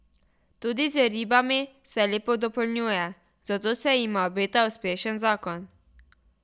Tudi z ribami se lepo dopolnjuje, zato se jima obeta uspešen zakon.